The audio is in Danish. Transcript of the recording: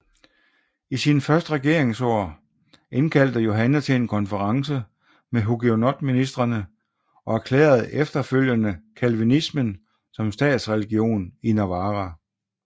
I sine første regeringsår indkaldte Johanne til en konference med hugenotministrene og erklærede efterfølgende calvinismen som statsreligion i Navarra